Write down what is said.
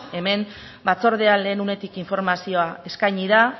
hemen batzordean lehen unetik informazioa eskaini da